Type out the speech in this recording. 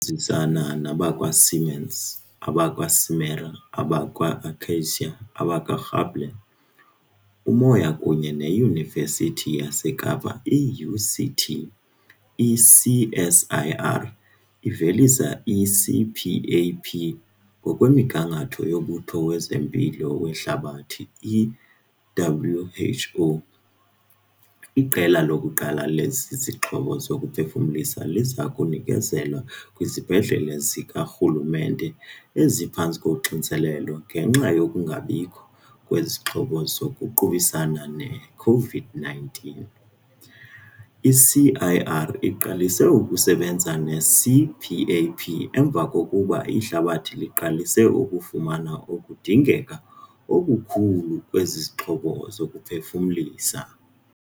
nzisana nabakwa-Siemens, abakwa-Simera, abakwa-Akacia, abakwa-Gabler, Umoya kunye neYunivesithi yaseKapa, i-UCT, i-CSIR ivelise i-CPAP ngokwemigangatho yoMbutho wezeMpilo weHlabathi, i-WHO. Iqela lokuqala lezi zixhobo zokuphefumlisa liza kunikezelwa kwizibhedlele zikarhulumente eziphantsi koxinzelelo ngenxa yokungabikho kwezixhobo zokuqubisana ne-COVID-19. I-CSIR iqalise ukusebenza nge-CPAP emva kokuba ihlabathi liqalise ukufumana ukudingeka okukhulu kwezixhobo zokuphefumlisa.